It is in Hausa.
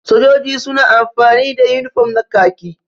Sojoji suna amfani da unifam na kaki.